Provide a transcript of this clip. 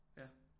Ja